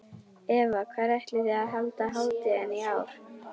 Eva, hvar ætlið þið að halda hátíðina í ár?